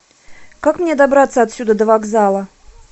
как мне добраться отсюда до вокзала